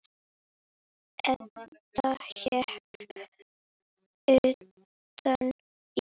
Edda hékk utan í.